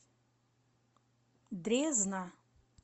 дрезна